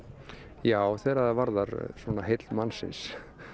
já þegar það varðar svona heill mannsins